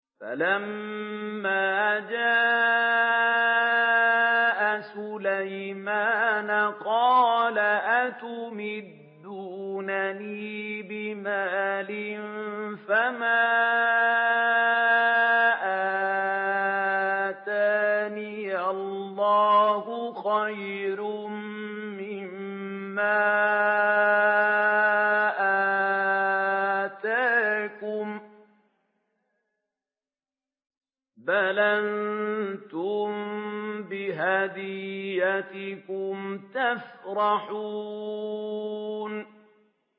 فَلَمَّا جَاءَ سُلَيْمَانَ قَالَ أَتُمِدُّونَنِ بِمَالٍ فَمَا آتَانِيَ اللَّهُ خَيْرٌ مِّمَّا آتَاكُم بَلْ أَنتُم بِهَدِيَّتِكُمْ تَفْرَحُونَ